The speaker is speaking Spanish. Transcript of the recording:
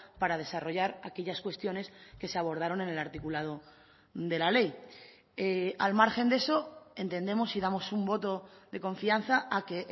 para desarrollar aquellas cuestiones que se abordaron en el articulado de la ley al margen de eso entendemos y damos un voto de confianza a que